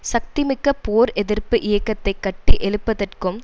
சக்திமிக்க போர் எதிர்ப்பு இயக்கத்தை கட்டி எழுப்பதற்கும்